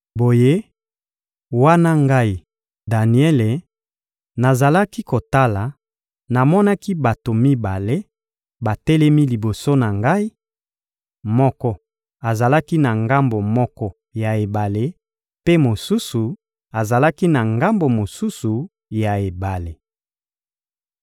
Boye, wana ngai, Daniele, nazalaki kotala, namonaki bato mibale batelemi liboso na ngai: moko azalaki na ngambo moko ya ebale, mpe mosusu azalaki na ngambo mosusu ya ebale.